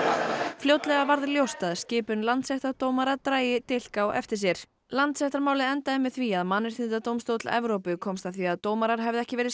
fljótlega varð ljóst að skipun landsréttardómara drægi dilk á eftir sér Landsréttarmálið endaði með því að Mannréttindadómstóll Evrópu komst að því að dómarar hefðu ekki verið